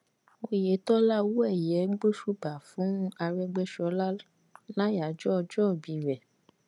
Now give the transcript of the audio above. Oyètọ́lá owóẹ̀yẹ gbósùbà fún arégbéṣọlá láyàájọ́ ọjọ́ìbí rẹ̀